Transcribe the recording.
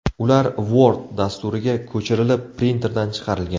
Ular Word dasturiga ko‘chirilib, printerdan chiqarilgan.